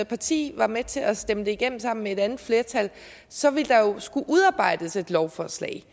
parti var med til at stemme det igennem sammen med et andet flertal så ville der jo skulle udarbejdes et lovforslag